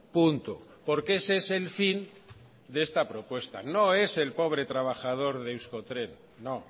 punto porque ese es el fin de esta propuesta no es el pobre trabajador de euskotren no